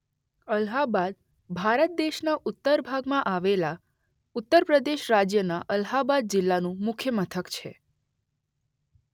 અલ્હાબાદ ભારત દેશના ઉત્તર ભાગમાં આવેલા ઉત્તર પ્રદેશ રાજ્યના અલ્હાબાદ જિલ્લાનું મુખ્ય મથક છે.